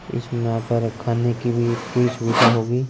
इसमें हमारे खाने की भी पूरी सुविधा होगी --